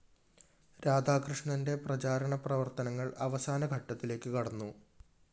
രാധാകൃഷ്ണന്റെ പ്രചാരണ പ്രവര്‍ത്തനങ്ങള്‍ അവസാന ഘട്ടത്തിലേക്ക്‌ കടന്നു